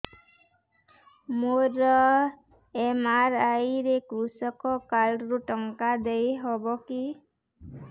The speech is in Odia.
ମୋର ଏମ.ଆର.ଆଇ ରେ କୃଷକ କାର୍ଡ ରୁ ଟଙ୍କା ଦେଇ ହବ କି